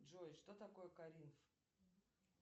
джой что такое коринф